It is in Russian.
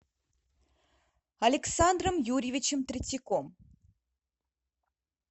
александром юрьевичем третьяком